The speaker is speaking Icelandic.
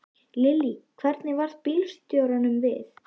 Lillý: Hvernig varð bílstjóranum við?